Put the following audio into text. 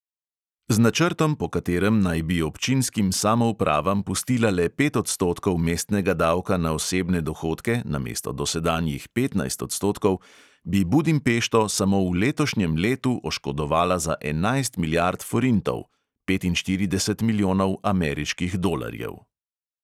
Z načrtom, po katerem naj bi občinskim samoupravam pustila le pet odstotkov mestnega davka na osebne dohodke namesto dosedanjih petnajst odstotkov, bi budimpešto samo v letošnjem letu oškodovala za enajst milijard forintov (petinštirideset milijonov ameriških dolarjev).